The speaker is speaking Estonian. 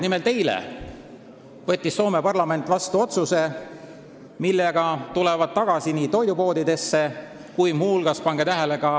Nimelt, eile võttis Soome parlament vastu otsuse, mille alusel tulevad tagasi nii toidupoodidesse kui ka – pange tähele!